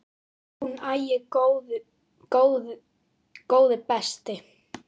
Hún: Æi, góði besti.!